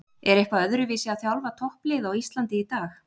Er eitthvað öðruvísi að þjálfa topplið á Íslandi í dag?